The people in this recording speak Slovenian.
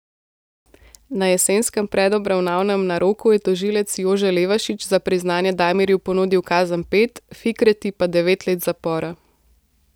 Na jesenskem predobravnavnem naroku je tožilec Jože Levašič za priznanje Damirju ponudil kazen pet, Fikreti pa devet let zapora.